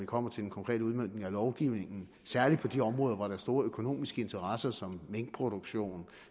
kommer til en konkret udmøntning af lovgivningen særlig på de områder hvor der er store økonomiske interesser som minkproduktion